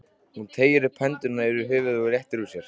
Hún teygir hendurnar upp fyrir höfuðið og réttir úr sér.